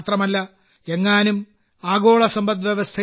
മാത്രമല്ല എങ്ങാനും ആഗോള സമ്പദ് വ്യവസ്ഥയിൽ